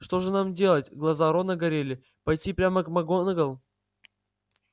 что же нам делать глаза рона горели пойти прямо к макгонагалл